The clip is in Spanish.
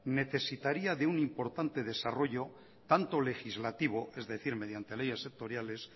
necesitaría de un importante desarrollo tanto legislativo es decir mediante leyes sectoriales